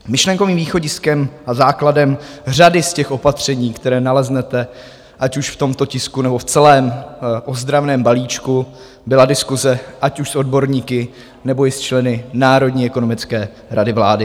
Myšlenkovým východiskem a základem řady z těch opatření, které naleznete, ať už v tomto tisku, nebo v celém ozdravném balíčku, byla diskuse, ať už s odborníky, nebo i s členy Národní ekonomické rady vlády.